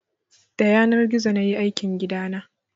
Da yanar gizo nayi aikin gidana